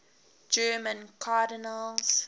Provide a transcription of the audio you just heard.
german cardinals